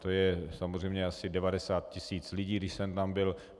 To je samozřejmě asi 90 tis. lidí, když jsem tam byl.